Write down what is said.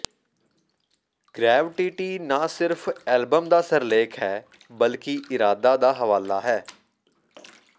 gravity ਨਾ ਸਿਰਫ album ਦਾ ਸਿਰਲੇਖ ਹੈ ਬਲਕਿ ਇਰਾਦਾ ਦਾ ਹਵਾਲਾ ਹੈ